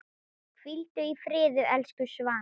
Hvíldu í friði, elsku Svana.